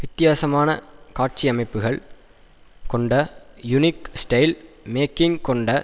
வித்தியாசமான காட்சியமைப்புகள் கொண்ட யுனிக் ஸ்டைல் மேக்கிங் கொண்ட